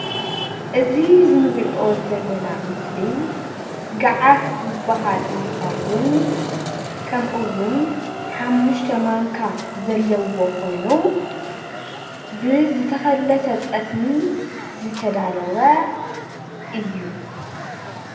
እዚ እንሪኦ ዘለና ምስሊ ገዓት ዝበሃል እንትኸውን ከምኢውን ሓሙሽተ ማንካ ዘለዎ ኾይኑ ብዝተኸለሰ ጠስሚ ዝተዳለወ እዩ።